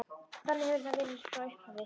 Þannig hefur það verið frá upphafi.